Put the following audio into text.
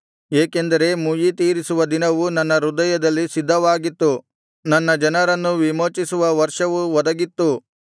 ಏಕೆಂದರೆ ಮುಯ್ಯಿ ತೀರಿಸುವ ದಿನವು ನನ್ನ ಹೃದಯದಲ್ಲಿ ಸಿದ್ಧವಾಗಿತ್ತು ನನ್ನ ಜನರನ್ನು ವಿಮೋಚಿಸುವ ವರ್ಷವು ಒದಗಿತ್ತು